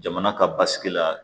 Jamana ka basigi la